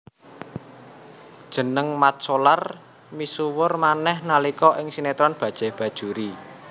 Jeneng Mat Solar misuwur manéh nalika ing sinetron Bajaj Bajuri